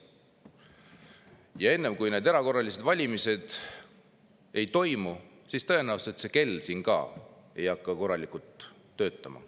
Ja enne kui need erakorralised valimised ei ole toimunud, ei hakka tõenäoliselt ka see kell siin korralikult töötama.